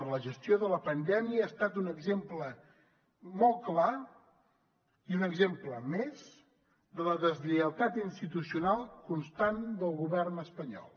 la gestió de la pandèmia ha estat un exemple molt clar i un exemple més de la deslleialtat institucional constant del govern espanyol